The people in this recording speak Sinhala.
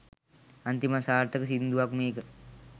අන්තිම අසාර්ථක සිංදුවක් මේක.